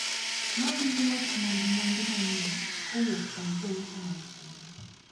Nawinja wach mwandu manyien kowuok kuom jouso mag chiro.